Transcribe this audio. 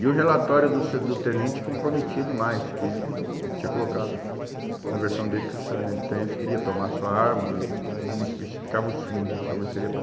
E o relatório do sar, do tenente comprometia demais, que ele tinha colocado na versão dele que o sargen, tenente queria tomar sua arma e não especificava os fins, né? Talvez seria para